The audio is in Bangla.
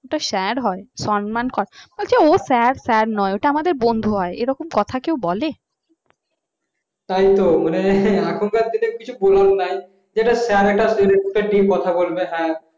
ওটা sir হয় সম্মান কর বলছে ও sir নয় আমাদের বন্ধু হয়। এরকম